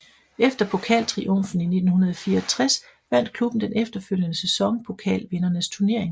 Efter pokaltriumfen i 1964 vandt klubben den efterfølgende sæson Pokalvindernes Turnering